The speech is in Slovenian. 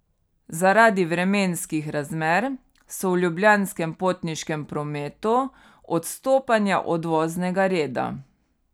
Zaradi vremenskih razmer so v Ljubljanskem potniškem prometu odstopanja od voznega reda.